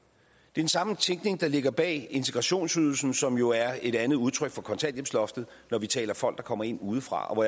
den samme tænkning der ligger bag integrationsydelsen som jo er et andet udtryk for kontanthjælpsloftet når vi taler folk der kommer ind udefra og